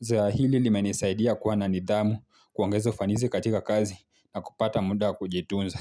Zoea hili limenisaidia kuwa na nidhamu kuongeza ufanisi katika kazi na kupata muda kujitunza.